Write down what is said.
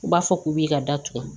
U b'a fɔ k'u b'i ka datugu